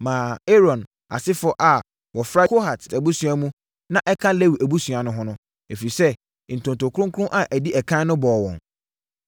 maa Aaron asefoɔ a wɔfra Kohat abusua mu na ɛka Lewi abusuakuo ho no, ɛfiri sɛ, ntonto kronkron a ɛdi ɛkan no bɔɔ wɔn.